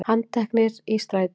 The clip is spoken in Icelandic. Handteknir í strætó